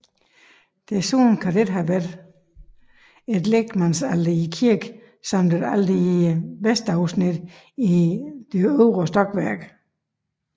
Desuden kan der have været et lægmandsalter i kirken samt et alter i vestafsnittet i øvre stokværk